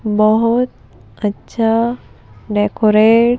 बोहोत अच्छा डेकोरेट --